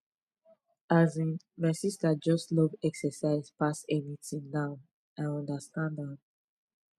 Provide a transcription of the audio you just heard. asin my sister just love exercise pass anything now i understand am